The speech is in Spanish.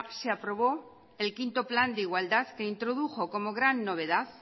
se aprobó el quinto plan de igualdad que introdujo como gran novedad